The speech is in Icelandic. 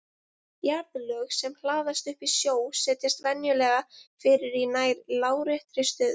Jarðlög sem hlaðast upp í sjó setjast venjulega fyrir í nær láréttri stöðu.